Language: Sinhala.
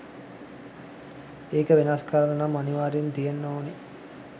එක වෙනස් කරන්න නම් අනිවාර්යයෙන් තියෙන්න ඕන